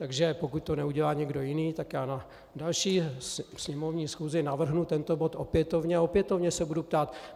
Takže pokud to neudělá někdo jiný, tak já na další sněmovní schůzi navrhnu tento bod opětovně a opětovně se budu ptát.